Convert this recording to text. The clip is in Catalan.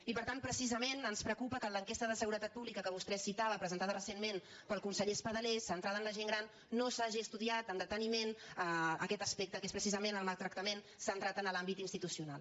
i per tant precisament ens preocupa que en l’enquesta de seguretat pública que vostè citava presentada recentment pel conseller espadaler centrada en la gent gran no s’hagi estudiat amb deteniment aquest aspecte que és precisament el maltractament centrat en l’àmbit institucional